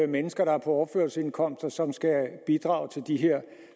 mennesker der er på overførselsindkomst og som skal bidrage til de her